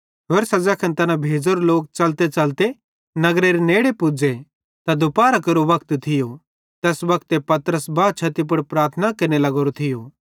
होरसां ज़ैखन तैना भेज़ोरे लोक च़लतेच़लते नगर नेड़े पुज़े तै दुपारहरां केरो वक्त थियो तैस वक्ते पतरस बा छती पुड़ प्रार्थना केरने लावरो थियो